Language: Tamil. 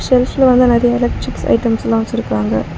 செல்ஃப்ல வந்து நறியா எலக்ட்ரிக்ஸ் ஐட்டம்ஸ்ஸல்லா வச்சிருக்காங்க.